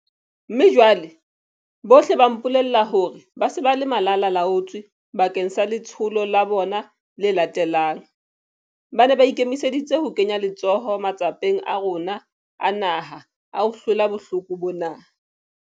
Mme jwale, bohle ba mpolella hore ba se ba le malalaalaotswe bakeng sa letsholo la bona le latelang. Ba ne ba ikemiseditse ho kenya letsoho matsapeng a rona a naha a ho hlola bohloko bona.